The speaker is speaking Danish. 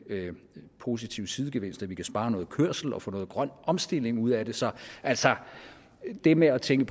positive sidegevinst at vi kan spare noget kørsel og få noget grøn omstilling ud af det så altså det med at tænke